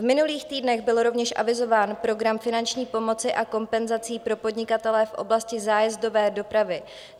V minulých týdnech byl rovněž avizován program finanční pomoci a kompenzací pro podnikatele v oblasti zájezdové dopravy.